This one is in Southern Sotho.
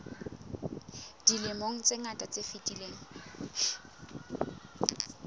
dilemong tse ngata tse fetileng